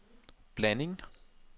blanding